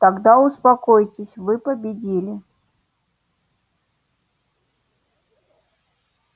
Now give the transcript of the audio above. тогда успокоитесь вы победили